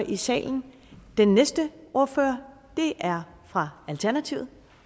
i salen den næste ordfører er fra alternativet